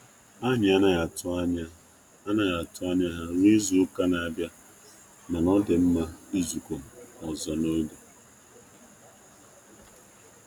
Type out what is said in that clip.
Anyị anaghị atụ anaghị atụ anya ha ruo izu-uka na-abịa, mana ọ dị mma izukọ ọzọ n'oge.